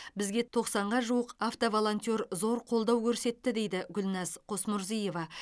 бізге тоқсанға жуық автоволонтер зор қолдау көрсетті дейді гүлназ қосмұрзиева